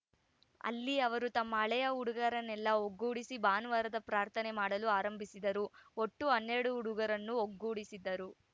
ಅಲ್ಲಿ ಅವರು ತಮ್ಮ ಹಳೆಯ ಹುಡುಗರನ್ನೆಲ್ಲಾ ಒಗ್ಗೂಡಿಸಿ ಭಾನುವಾರದ ಪ್ರಾರ್ಥನೆ ಮಾಡಲು ಆರಂಭಿಸಿದರು ಒಟ್ಟು ಹನ್ನೆರಡು ಹುಡುಗರನ್ನು ಒಗ್ಗೂಡಿಸಿದರು